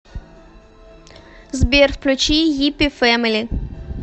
сбер включи йиппи фэмили